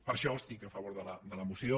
per això estic a favor de la moció